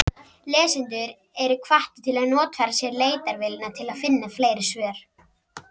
Lesendur eru hvattir til að notfæra sér leitarvélina til að finna fleiri svör.